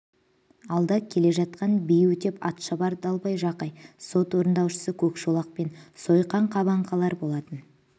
алда келе жатқан би өтеп атшабар далбай жақай сот орындаушысы көкшолақ пен сойқан қабанқаралар болатын